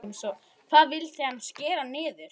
Hvað vildi hann skera niður?